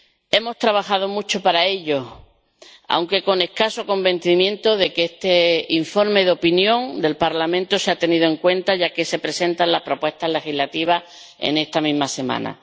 Hemos trabajado mucho para ello, aunque con escaso convencimiento de que este informe de propia iniciativa del Parlamento sea tenido en cuenta, ya que se presentan las propuestas legislativas en esta misma semana.